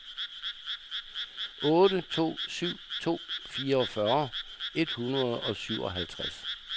otte to syv to fireogfyrre et hundrede og syvoghalvtreds